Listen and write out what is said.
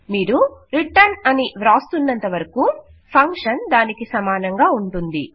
మీరు రిటర్న్ అని వ్రాస్తూన్నంతవరకూ ఫంక్షన్ దానికి సమానంగా ఉంటుంది